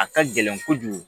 A ka gɛlɛn kojugu